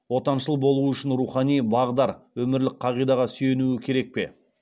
отаншыл болуы үшін рухани бағдар өмірлік қағидаға сүйенуі керек пе